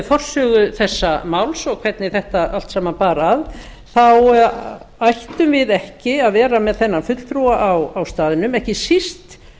forsögu þessa máls og hvernig þetta allt saman bar að þá ættum við ekki að vera með innan fulltrúa á staðnum ekki síst